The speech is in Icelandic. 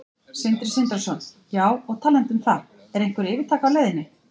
Sindri Sindrason: Já, og talandi um það, er einhver yfirtaka á leiðinni?